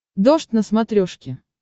дождь на смотрешке